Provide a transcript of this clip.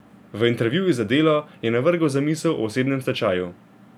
V intervjuju za Delo je navrgel zamisel o osebnem stečaju.